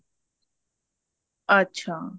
ਅੱਛਾ